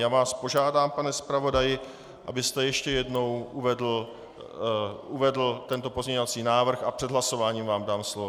Já vás požádám, pane zpravodaji, abyste ještě jednou uvedl tento pozměňovací návrh, a před hlasováním vám dám slovo.